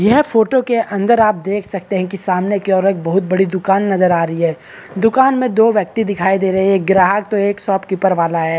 यह फोटो के अंदर आप देख सकते है कि सामने की ओर एक बहुत बड़ी दुकान नजर आ रही है दुकान में दो व्यक्ति दिखाई दे रहे है एक ग्राहक तो एक शॉप कीपर वाला है।